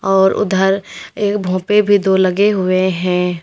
और उधर एक भोपे भी दो लगे हुए हैं।